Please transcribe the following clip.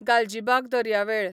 गालजिबाग दर्यावेळ